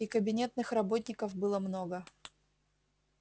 и кабинетных работников было много